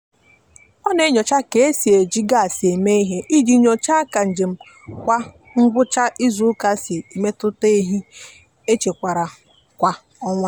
ana m atụlekarị mmefu ego m n'ezie na mmefu ego m zubere iji chọpụta ohere nchekwa ego.